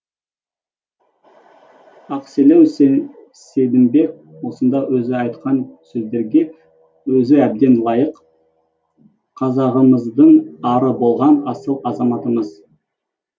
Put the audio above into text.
ақселеу сейдімбек осынау өзі айтқан сөздерге өзі әбден лайық қазағымыздың ары болған асыл азаматымыз